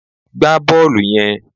Gbá bọ́ọ̀lù yen